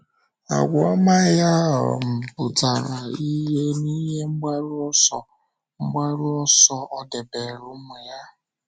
Àgwà ọma ya um pụtara ìhè n’ihe mgbaru ọsọ mgbaru ọsọ o debere ụmụ ya.